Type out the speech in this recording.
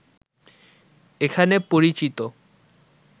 এখানে পরিচিত